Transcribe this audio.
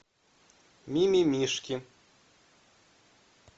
мимимишки